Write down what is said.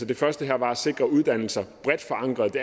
det første her var at sikre uddannelser bredt forankret